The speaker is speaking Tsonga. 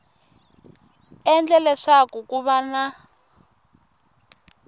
endle leswaku ku va na